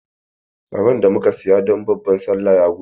Ragon da muka saya don babban Sallah ya gudu.